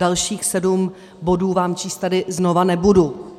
Dalších sedm bodů vám číst tady znova nebudu.